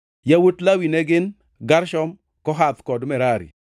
Yawuot Lawi ne gin: Gershon, Kohath kod Merari.